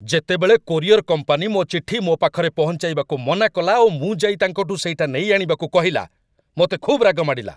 ଯେତେବେଳେ courier company ମୋ ଚିଠି ମୋ ପାଖରେ ପହଞ୍ଚାଇବାକୁ ମନାକଲା ଓ ମୁଁ ଯାଇ ତାଙ୍କଠୁ ସେଇଟା ନେଇଆଣିବାକୁ କହିଲା, ମୋତେ ଖୁବ୍ ରାଗ ମାଡ଼ିଲା।